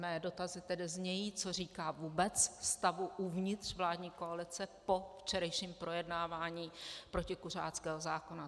Mé dotazy tedy znějí, co říká vůbec stavu uvnitř vládní koalice po včerejším projednávání protikuřáckého zákona.